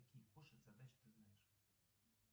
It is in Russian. какие кошек задачи ты знаешь